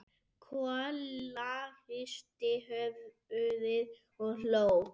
Kolla hristi höfuðið og hló.